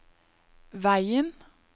veien